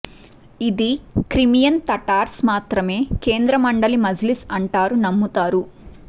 ఇది Crimean Tatars మాత్రమే కేంద్ర మండలి మజ్లిస్ అంటారు నమ్ముతారు